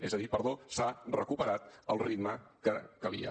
és a dir s’ha recuperat el ritme que calia